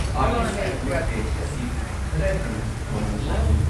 Artist acrylic paint ꯑꯁꯤ ꯈꯔ ꯍꯦꯟꯅ ꯃꯃꯜ ꯋꯥꯡꯉꯤ꯫